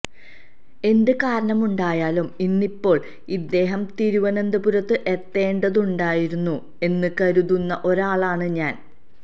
എന്ത് കാരണമുണ്ടായാലും ഇന്നിപ്പോൾ അദ്ദേഹം തിരുവനന്തപുരത്ത് എത്തേണ്ടതുണ്ടായിരുന്നു എന്ന് കരുതുന്ന ഒരാളാണ് ഞാൻ